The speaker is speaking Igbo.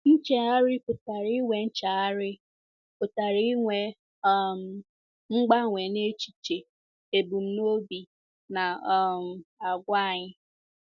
Nchegharị pụtara inwe Nchegharị pụtara inwe um mgbanwe n’echiche, ebumnobi, na um àgwà anyị.